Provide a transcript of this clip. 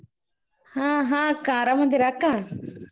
ಹ ಹ ಅಕ್ಕ ಅರಾಮಿದಿರ ಅಕ್ಕ?